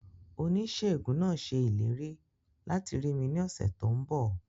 Oníṣèègùn náà ṣe ìlérí láti rí mi ní ọ̀sẹ̀ tó n bọ̀